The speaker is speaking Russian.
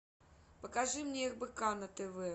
покажи мне рбк на тв